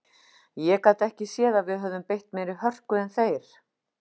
Ég gat ekki séð að við höfum beitt meiri hörku en þeir.